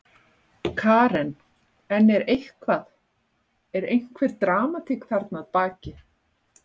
Karen: En er eitthvað, er einhver dramatík þarna að baki?